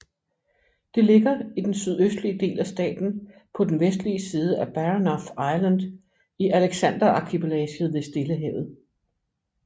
Det ligger i den sydøstlige del af staten på den vestlige side af Baranof Island i Alexanderarkipelaget ved Stillehavet